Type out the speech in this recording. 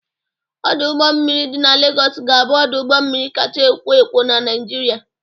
Ọdọ ụgbọ mmiri dị na Legọs ga-abụ ọdụ ụgbọ mmiri kacha ekwo ekwo na Naịjirịa.